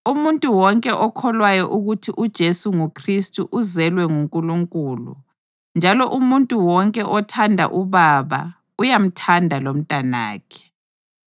Umuntu wonke okholwayo ukuthi uJesu nguKhristu uzelwe nguNkulunkulu, njalo umuntu wonke othanda uBaba uyamthanda lomtanakhe.